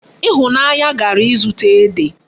Ifunanya gara izuta Ede